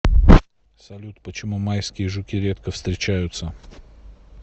салют почему майские жуки редко встречаются